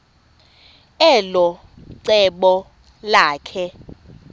elo cebo lakhe